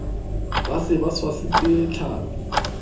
ba se ba tshwasitse tlhapi